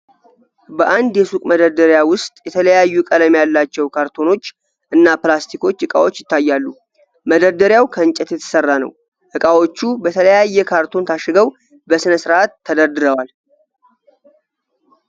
በአንድ የሱቅ መደርደሪያ ውስጥ የተለያዩ ቀለም ያላቸው ካርቶኖች እና ፕላስቲክ እቃዎች ይታያሉ፤ መደርደሪያው ከእንጨት የተሠራ ነው ፤ እቃዎቹ በተለያየ ካርቶን ታሽገው በስነ ስርዓት ተደርድረዋል።